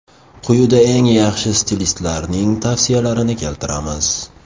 Quyida eng yaxshi stilistlarning tavsiyalarini keltiramiz.